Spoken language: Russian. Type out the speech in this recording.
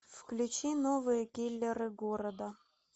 включи новые киллеры города